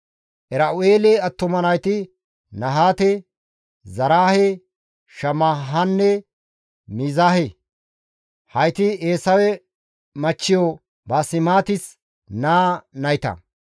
Era7u7eele attuma nayti Nahaate, Zaraahe, Shammahanne Miizahe; hayti Eesawe machchiyo Baasemaatis naa nayta.